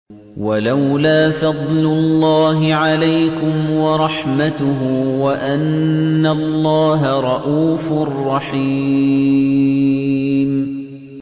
وَلَوْلَا فَضْلُ اللَّهِ عَلَيْكُمْ وَرَحْمَتُهُ وَأَنَّ اللَّهَ رَءُوفٌ رَّحِيمٌ